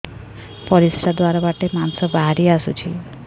ପରିଶ୍ରା ଦ୍ୱାର ବାଟେ ମାଂସ ବାହାରି ଆସୁଛି